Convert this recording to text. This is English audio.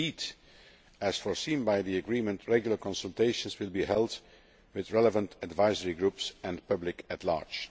Indeed, as foreseen by the Agreement, regular consultations will be held with relevant advisory groups and the public at large.